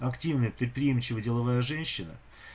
активная предприимчивая деловая женщина